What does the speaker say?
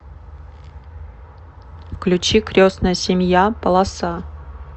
включи крестная семья полоса